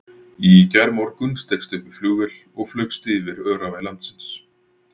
Í gærmorgun steigstu upp í flugvél og flaugst yfir öræfi landsins.